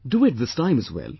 Do it this time as well